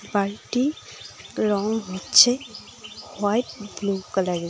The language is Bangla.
বাড়িটি রং হচ্ছে হোয়াইট ব্লু কালারের।